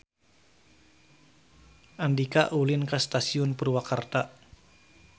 Andika ulin ka Stasiun Purwakarta